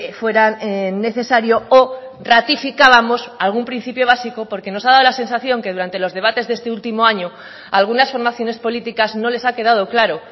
fueran necesario o ratificábamos algún principio básico porque nos ha dado la sensación que durante los debates de este último año algunas formaciones políticas no les ha quedado claro